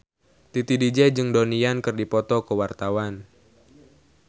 Titi DJ jeung Donnie Yan keur dipoto ku wartawan